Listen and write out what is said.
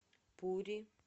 пури